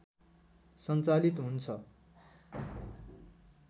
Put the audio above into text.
सञ्चालित हुन्छ